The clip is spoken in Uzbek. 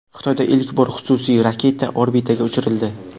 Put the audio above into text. Xitoyda ilk bor xususiy raketa orbitaga uchirildi.